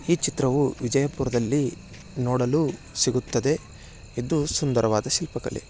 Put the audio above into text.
ಈ ಚಿತ್ರವೂ ವಿಜಯ್ಪುರದಲ್ಲಿ ನೋಡಲು ಸಿಗುತ್ತದೆ. ಇದು ಸುಂದವಾದ ಶಿಲ್ಪ ಕಲೆ.